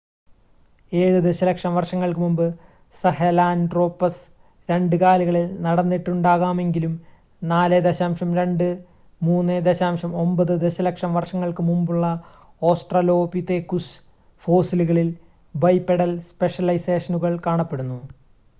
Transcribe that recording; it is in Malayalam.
ഏഴ് ദശലക്ഷം വർഷങ്ങൾക്ക് മുമ്പ് സഹെലാൻട്രോപസ് രണ്ട് കാലുകളിൽ നടന്നിട്ടുണ്ടാകാമെങ്കിലും 4.2-3.9 ദശലക്ഷം വർഷങ്ങൾക്ക് മുമ്പുള്ള ഓസ്ട്രലോപിതെകുസ് ഫോസിലുകളിൽ ബൈപെഡൽ സ്പെഷലൈസേഷനുകൾ കാണപ്പെടുന്നു